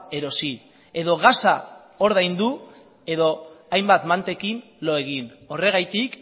erosi edo gasa ordaindu edo hainbat mantekin lo egin horregatik